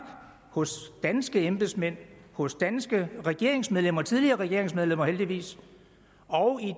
hos danske embedsmænd hos danske regeringsmedlemmer tidligere regeringsmedlemmer heldigvis og